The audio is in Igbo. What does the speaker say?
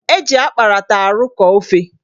Eji akparata arụkọ ofe